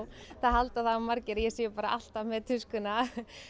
það halda það margir að ég sé bara alltaf með tuskuna